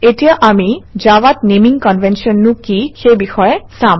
এতিয়া আমি জাভাত নেমিং কনভেনশ্যননো কি সেই বিষয়ে চাম